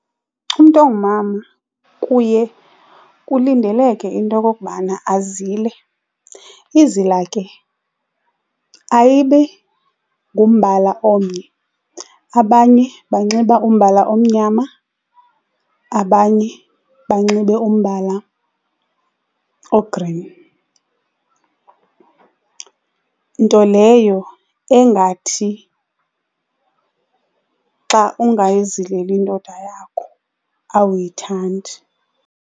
Umntu ongumama kuye kulindeleke into okubana azile. Izila ke ayibi ngumbala omnye, abanye banxiba umbala omnyama, abanye banxibe umbala o-green, nto leyo engathi xa ungayizileli indoda yakho awuyithandi.